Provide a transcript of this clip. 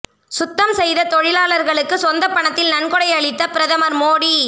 சுத்தம் செய்த தொழிலாளர்களுக்கு சொந்த பணத்தில் நன்கொடை அளித்த பிரதமர் மோடி